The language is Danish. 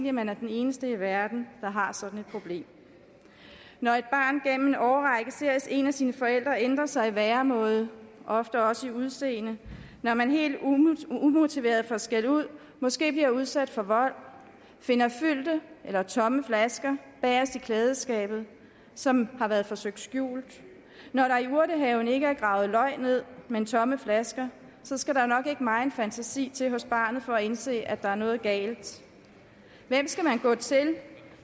at man er den eneste i verden der har sådan et problem når et barn gennem en årrække ser en af sine forældre ændre sig i væremåde ofte også i udseende når man helt umotiveret får skældud måske bliver udsat for vold finder fyldte eller tomme flasker bagest i klædeskabet som har været forsøgt skjult når der i urtehaven ikke er gravet løg ned men tomme flasker skal der nok ikke meget fantasi til hos barnet for at indse at der er noget galt hvem skal man gå til